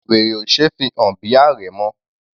Wèrè ò ṣe é fi hàn bí àrẹ̀mọ.